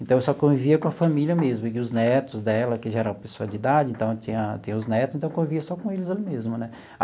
Então, eu só convivia com a família mesmo e os netos dela, que já era pessoa de idade, então, tinha tem os netos, então, convivia só com eles ali mesmo, né?